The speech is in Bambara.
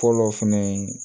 Fɔlɔ fɛnɛ ye